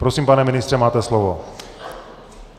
Prosím, pane ministře, máte slovo.